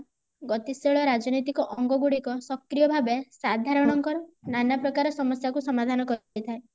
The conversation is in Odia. ଗତିଶୀଳ ରାଜନୈତିକ ଅଙ୍ଗ ଗୁଡିକ ସକ୍ରିୟ ଭାବେ ସାଧରଣ ଙ୍କ ନାନାପ୍ରକାର ସମସ୍ଯା କୁ ସମାଧାନ କରିଥାଏ